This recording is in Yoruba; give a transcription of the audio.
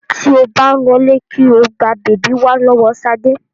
Tí ó bá ń lọlé kí o gba bèbí wá lọ́wọ́ Ṣadé.